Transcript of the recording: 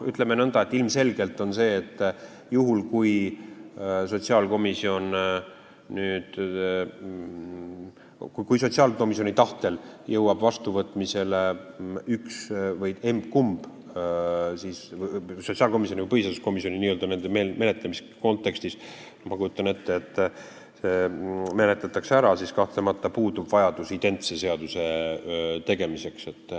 Ütleme nõnda, et ilmselgelt, juhul kui sotsiaalkomisjoni tahtel jõuab emb-kumb vastuvõtmisele, sotsiaalkomisjonis ja põhiseaduskomisjonis n-ö menetlemise kontekstis, ma kujutan ette, see menetletakse ära, siis kahtlemata puudub vajadus identse seaduse tegemiseks.